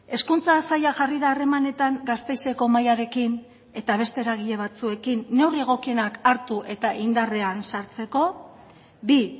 hezkuntza saila jarri da harremanetan gasteizeko mahaiarekin eta beste eragile batzuekin neurri egokienak hartu eta indarrean sartzeko bi